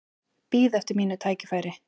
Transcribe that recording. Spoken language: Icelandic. Bíð eftir mínu tækifæri